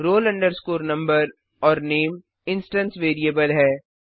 roll number और name instance variable है